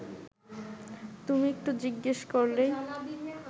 তুমি একটু জিজ্ঞেস করলেই